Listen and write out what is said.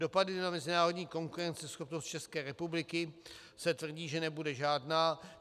Dopady na mezinárodní konkurenceschopnost České republiky se tvrdí, že nebude žádná.